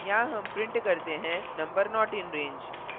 यहाँ हम print करते हैं number not in range